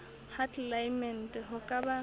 ha tlelaemete ho ka ba